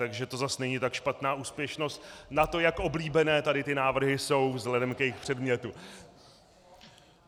Takže to zas není tak špatná úspěšnost na to, jak oblíbené tady ty návrhy jsou vzhledem k jejich předmětu.